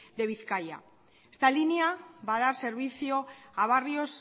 de bizkaia esta línea va a dar servicio a barrios